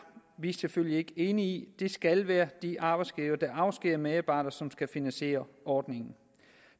vi selvfølgelig ikke enige i det skal være de arbejdsgivere der afskediger medarbejdere som skal finansiere ordningen